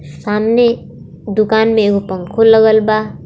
सामने दुकान में एगो पंखों लगल बा.